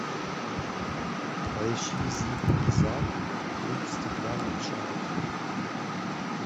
поищи зип и зап клуб стеклянных шариков